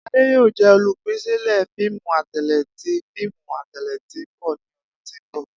Ade yoo jẹ olupilẹṣẹ fiimu atẹle ti fiimu atẹle ti n bọ ni ọdun ti n bọ.